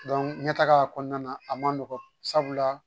ɲɛtaga kɔnɔna na a man nɔgɔn sabula